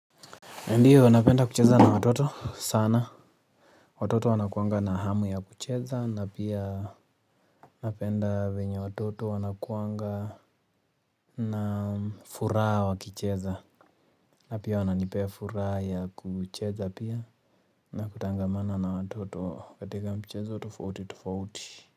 Ndiyo, napenda kucheza na watoto sana. Watoto wana kuwanga nahamu ya kucheza. Na pia napenda vyenye watoto wana kuwanga na furaha wakicheza. Na pia wananipea furaha ya kucheza pia na kutangamana na watoto katika michezo tofauti tofauti.